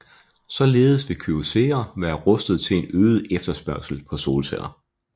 Således vil Kyocera være rustet til en øget efterspørgsel på solceller